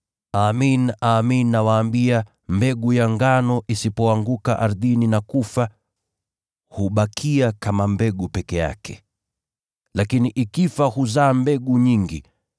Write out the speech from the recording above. Amin, amin nawaambia, mbegu ya ngano isipoanguka ardhini na kufa, hubakia kama mbegu peke yake. Lakini ikifa huzaa mbegu nyingi.